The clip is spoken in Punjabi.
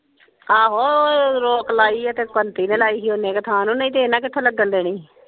ਆਹੋ ਇਹ ਰੋਕ ਲਾਯੀ ਏ ਤੇ ਕੰਤਿ ਨੇ ਲਈ ਸੀ ਓਹਨੇ ਕ ਥਾ ਨੂੰ ਨਹੀਂ ਤੇ ਹਨ ਕਿਥੇ ਲੱਗਣ ਦੇਣੀ ਸੀ।